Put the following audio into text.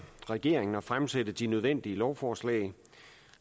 regeringen at fremsætte de nødvendige lovforslag